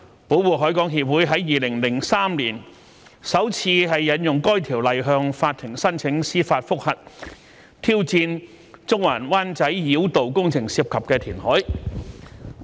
保護海港協會於2003年首次引用該條例向法庭申請司法覆核，挑戰中環及灣仔繞道工程涉及的填海。